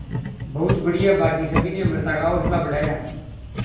बहुत बढ़िया बाकी सभी ने अमृता का हौसला बढ़ाया